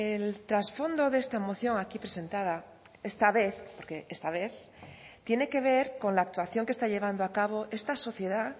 el trasfondo de esta moción aquí presentada esta vez porque esta vez tiene que ver con la actuación que está llevando a cabo esta sociedad